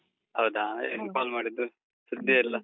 ಹೌದಾ? ಏನು call ಮಾಡಿದ್ದು? ಸುದ್ದಿಯೇ ಇಲ್ಲ.